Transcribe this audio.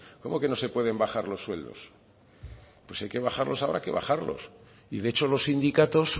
cómo que no se pueden bajar los sueldos pues si hay que bajarlos habrá que bajarlos y de hecho los sindicatos